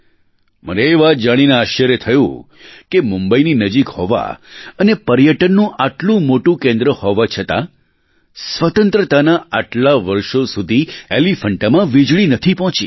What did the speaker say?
મને એ વાત જાણીને આશ્ચર્ય થયું કે મુંબઈની નજીક હોવા અને પર્યટનનું આટલું મોટું કેન્દ્ર હોવા છતાં સ્વતંત્રતાનાં આટલાં વર્ષો સુધી એલીફૅન્ટામાં વીજળી નથી પહોંચી